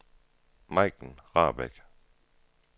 Majken Rahbek